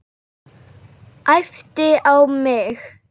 Æpti á mig.